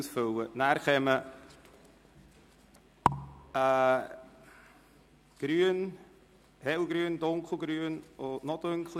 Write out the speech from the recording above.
Dann finden Sie noch einen hellgrünen, einen grünen und einen dunkelgrünen Wahlzettel.